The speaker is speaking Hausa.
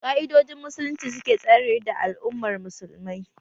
Ƙa'idojin musulunci suke tsare da al'ummar musulmai